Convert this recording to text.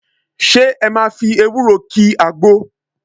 Ṣé ẹ máa fi ewúro ki àgbo?